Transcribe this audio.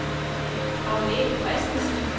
Agnete Christensen